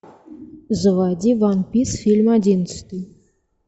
заводи ван пис фильм одиннадцатый